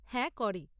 হ্যাঁ, করে।